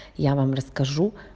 я вам расскажу